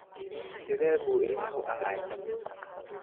Sidee buu ilmuhu ahaay?